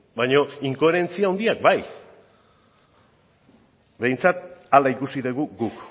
baina inkoherentzia handiak bat behintzat hala ikusi dugu guk